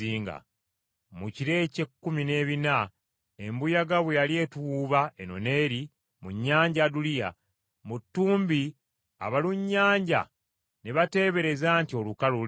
Mu kiro eky’ekkumi n’ebina embuyaga bwe yali etuwuuba eno n’eri mu Nnyanja Aduliya, mu ttumbi abalunnyanja ne bateebereza nti olukalu luli kumpi.